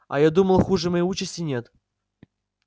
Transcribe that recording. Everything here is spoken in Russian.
а я думал хуже моей участи нет